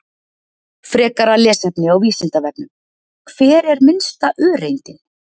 Frekara lesefni á Vísindavefnum: Hver er minnsta öreindin?